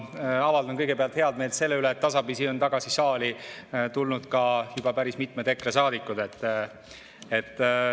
Ma avaldan kõigepealt head meelt selle üle, et tasapisi on tagasi saali tulnud ka juba päris mitmed EKRE saadikud.